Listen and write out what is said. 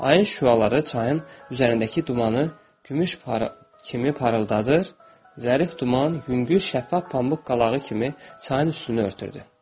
Ayın şüaları çayın üzərindəki dumanı gümüş parıltı kimi parıldadır, zərif duman yüngül şəffaf pambuq qalağı kimi çayın üstünü örtürdü.